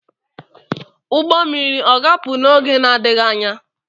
Ugbo mmiri o ga-apụ n’oge na-adịghị anya?